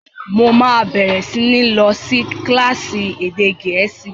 Mo máa bẹ̀rẹ̀ sí ní lọ sí kílásì èdè gẹ̀ẹ́sì